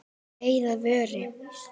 Það leið að vori.